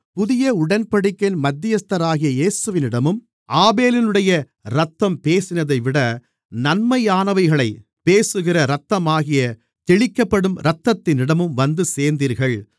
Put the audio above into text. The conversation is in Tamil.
புதிய உடன்படிக்கையின் மத்தியஸ்தராகிய இயேசுவினிடமும் ஆபேலினுடைய இரத்தம் பேசினதைவிட நன்மையானவைகளைப் பேசுகிற இரத்தமாகிய தெளிக்கப்படும் இரத்தத்தினிடமும் வந்து சேர்ந்தீர்கள்